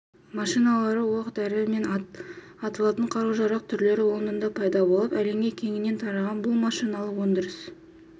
машиналары оқ-дәрі мен атылатын қару-жарақ түрлері лондонда пайда болып әлемге кеңінен тараған бұл машиналық өндіріс